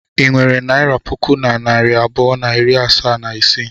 I nwere naira puku na narị abụọ na iri asaa na isii?